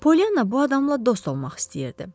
Polyana bu adamla dost olmaq istəyirdi.